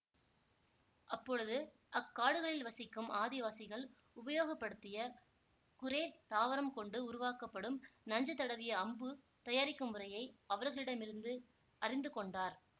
அப்பொழுது அக்காடுகளில் வசிக்கும் ஆதிவாசிகள் உபயோகப்படுத்திய குரேர் தாவரம் கொண்டு உருவாக்கப்படும் நஞ்சு தடவிய அம்பு தயாரிக்கும் முறையை அவர்களிடம் இருந்து அறிந்து கொண்டார்